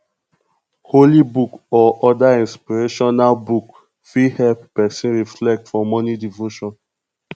holy book or oda inspirational book fit help person reflect for morning devotion